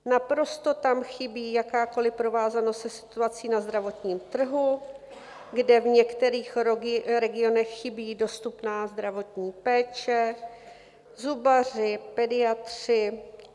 Naprosto tam chybí jakákoliv provázanost se situací na zdravotním trhu, kde v některých regionech chybí dostupná zdravotní péče, zubaři, pediatři.